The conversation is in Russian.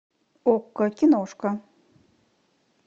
окко киношка